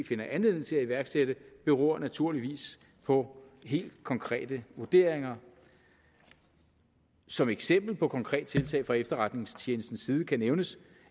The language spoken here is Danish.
finder anledning til at iværksætte beror naturligvis på helt konkrete vurderinger som eksempel på et konkret tiltag fra efterretningstjenestens side kan nævnes